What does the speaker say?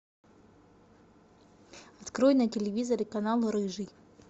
открой на телевизоре канал рыжий